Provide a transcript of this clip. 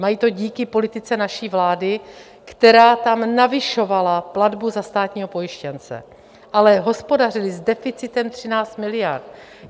Mají to díky politice naší vlády, která tam navyšovala platbu za státního pojištěnce, ale hospodařili s deficitem 13 miliard.